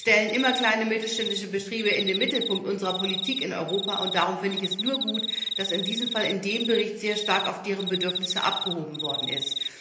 Wir stellen immer kleine und mittelständische Betriebe in den Mittelpunkt unserer Politik in Europa und darum finde ich es nur gut, dass in diesem Fall in dem Bericht sehr stark auf deren Bedürfnisse abgestellt worden ist.